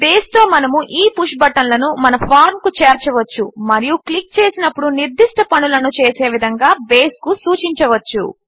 బేస్తో మనము ఈ పుష్ బటన్లను మన ఫార్మ్ కు చేర్చవచ్చు మరియు క్లిక్ చేసినప్పుడు నిర్దిష్ట పనులను చేసే విధంగా బేస్కు సూచించవచ్చు